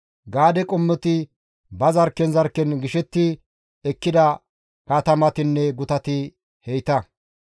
Gaade qommoti ba zarkken zarkken gishetti ekkida katamatinne gutati heyta.